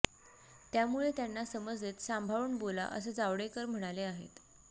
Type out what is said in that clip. त्यामुळे त्यांना समज देत सांभाळून बोला असं जावडेकर म्हणाले आहेत